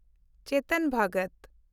ᱪᱮᱛᱚᱱ ᱵᱷᱚᱜᱚᱛ